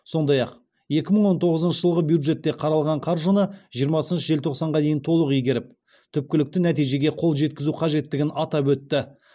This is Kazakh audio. сондай ақ екі мың он тоғызыншы жылғы бюджетте қаралған қаржыны жиырма желтоқсанға дейін толық игеріп түпкілікті нәтижеге қол жеткізу қажеттігін атап өтті